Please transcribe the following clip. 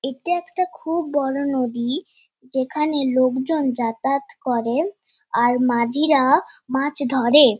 এটা একটা খুব বড়ো নদী। যেখানে লোকজন যাতায়াত করে আর মাঝিরা মাছ ধরে।